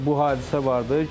Bu hadisə var idi.